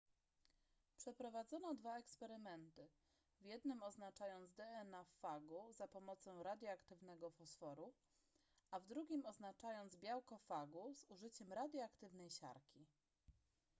przeprowadzono dwa eksperymenty w jednym oznaczając dna w fagu za pomocą radioaktywnego fosforu a w drugim oznaczając białko fagu z użyciem radioaktywnej siarki